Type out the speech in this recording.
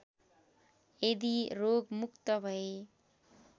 यदि रोगमुक्त भए